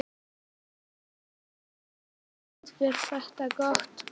Óli: En þú hefur þú, finnst þér þetta gott?